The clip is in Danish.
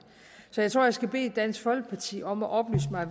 så jeg tror at jeg skal bede dansk folkeparti om at oplyse mig